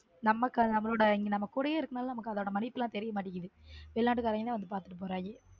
நம்ம நம்ம கூடவே இருக்கணும் நமக்கு அதோட மதிப்பு எல்லாம் தெரிய மாட்டேங்குது வெளிநாட்டுக்காரவங்க தான் வந்து பாத்துட்டு போறாங்க.